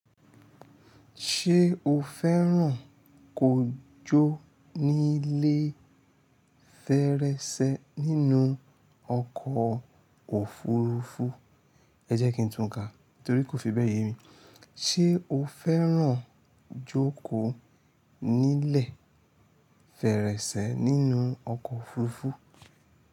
Ṣé o fẹ́ràn kó jó nílé fèrèsé nínú ọkọ̀ òfurufú? Ẹ̀ jẹ́ kí n tun ka, torí kò fi bẹ́ẹ̀ ye mi. Ṣé o fẹ́ràn jókòó nílẹ̀ fèrèsé nínú ọkọ̀ òfurufú?